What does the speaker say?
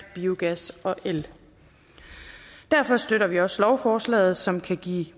biogas og el derfor støtter vi også lovforslaget som kan give